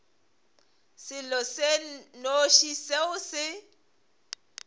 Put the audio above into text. selo se nnoši seo se